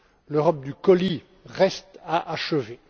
L'Europe du colis reste à achever.